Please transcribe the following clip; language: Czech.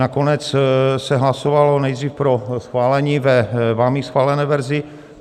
Nakonec se hlasovalo nejdřív pro schválení ve vámi schválené verzi.